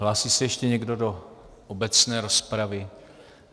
Hlásí se ještě někdo do obecné rozpravy?